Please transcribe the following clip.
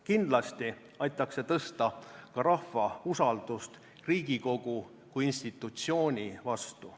Kindlasti aitaks see tõsta ka rahva usaldust Riigikogu kui institutsiooni vastu.